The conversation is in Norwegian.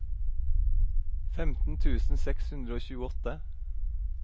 femten tusen seks hundre og tjueåtte